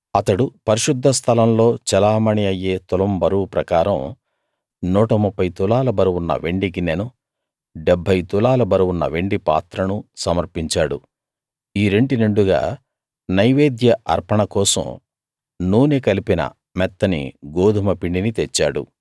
అతడు పరిశుద్ధ స్థలంలో చెలామణీ అయ్యే తులం బరువు ప్రకారం 130 తులాల బరువున్న వెండి గిన్నెను 70 తులాల బరువున్న వెండి పాత్రను సమర్పించాడు ఈ రెంటి నిండుగా నైవేద్య అర్పణ కోసం నూనె కలిపిన మెత్తని గోదుమ పిండిని తెచ్చాడు